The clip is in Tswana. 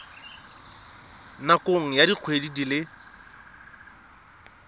nakong ya dikgwedi di le